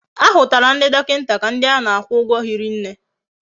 Ahutara ndi dokinta ka ndi ana akwu ugwo hiri nne